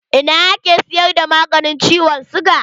A ina ake siyar da maganin ciwon siga?